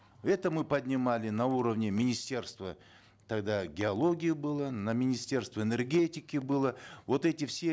это мы поднимали на уровне министерства тогда геологии было на министерство энергетики было вот эти все